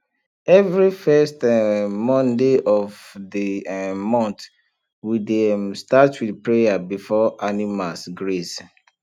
every first um monday of the um month we dey um start with prayer before animals graze